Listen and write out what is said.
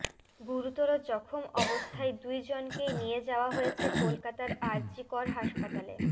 গুরুতর জখম অবস্থায় দুই জনকেই নিয়ে যাওয়া হয়েছে কলকাতার আর জি কর হাসপাতালে